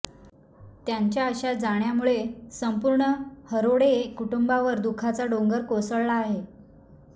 त्यांच्या अशा जाण्यामुळे संपूर्ण हरोडे कुटुंबावर दुखाचा डोंगर कोसळला आहे